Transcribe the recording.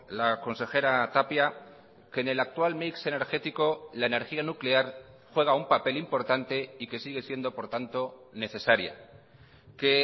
la consejera tapia que en el actual mix energético la energía nuclear juega un papel importante y que sigue siendo por tanto necesaria que